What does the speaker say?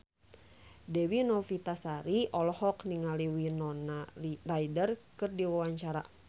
Dewi Novitasari olohok ningali Winona Ryder keur diwawancara